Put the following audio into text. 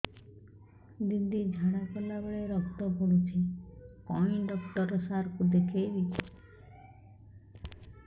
ଦିଦି ଝାଡ଼ା କଲା ବେଳେ ରକ୍ତ ପଡୁଛି କଉଁ ଡକ୍ଟର ସାର କୁ ଦଖାଇବି